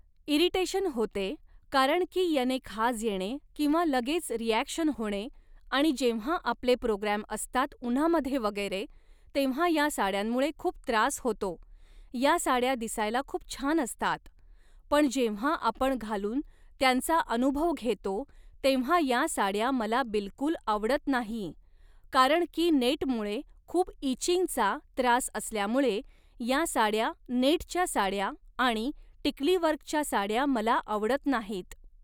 irritation होते कारण की याने खाज येणे किंवा लगेच रिॲक्शन होणे आणि जेव्हा आपले प्रोग्रॅम असतात उन्हामध्ये वगैरे तेव्हा या साड्यांमुळे खूप त्रास होतो या साड्या दिसायला खूप छान असतात पण जेव्हा आपण घालून त्यांचा अनुभव घेतो तेव्हा या साड्या मला बिलकुल आवडत नाही कारण की नेटमुळे खूप इचिंगचा त्रास असल्यामुळे या साड्या नेटच्या साड्या आणि टिकलीवर्कच्या साड्या मला आवडत नाहीत